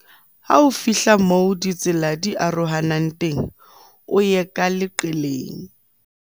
ha o fihla moo ditsela di arohanang teng o ye ka leqeleng